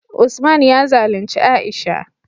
Usman ya zalunci Aisha